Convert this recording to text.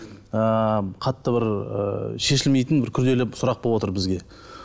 ыыы қатты бір ы шешілмейтін күрделі бір сұрақ бовотыр бізге